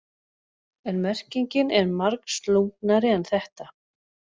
En merkingin er margslungnari en þetta.